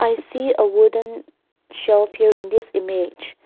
i see a wooden shelf here in this image.